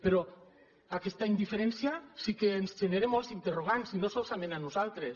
però aquesta indiferència sí que ens genera molts interrogants i no solament a nosaltres